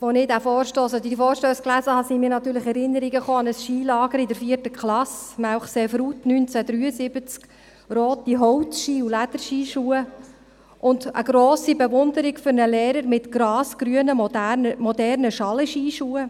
Als ich diesen Vorstoss beziehungsweise die Vorstösse las, kammen mir natürlich Erinnerungen an ein Skilager in der 4. Klasse, Melchseefrutt, 1973: rote Holzskis, Lederskischuhe und eine grosse Bewunderung für einen Lehrer mit grasgrünen, modernen Schalenskischuhen.